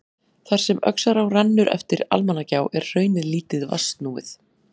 Þar sem Öxará rennur eftir Almannagjá er hraunið lítið vatnsnúið.